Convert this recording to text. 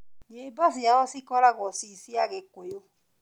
Nyĩmbo ciao cikoragũo ciĩ cia gĩkũyũ